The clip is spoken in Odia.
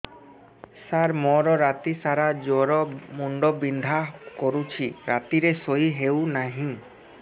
ସାର ମୋର ରାତି ସାରା ଜ୍ଵର ମୁଣ୍ଡ ବିନ୍ଧା କରୁଛି ରାତିରେ ଶୋଇ ହେଉ ନାହିଁ